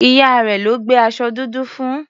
Ìyá rẹ̀ ló gbé aṣọ dúdú fún.